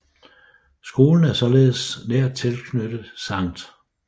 Skolen er således nært tilknyttet Sct